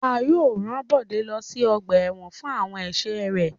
A yóò ran Bode lo si ọgba ẹ́wọ̀n fun awọn ẹṣẹ rẹ